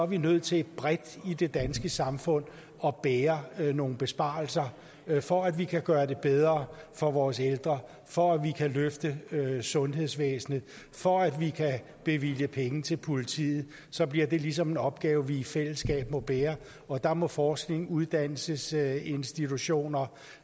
vi nødt til bredt i det danske samfund at bære nogle besparelser for at vi kan gøre det bedre for vores ældre for at vi kan løfte sundhedsvæsenet for at vi kan bevilge penge til politiet så bliver det ligesom en opgave vi i fællesskab må bære og der må forskning uddannelsesinstitutioner